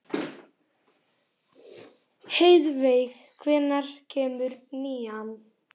Heiðveig, hvenær kemur nían?